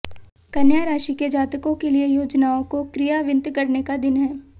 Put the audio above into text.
कन्या राशि के जातकों के लिए योजनाओं को क्रियान्वित करने का दिन है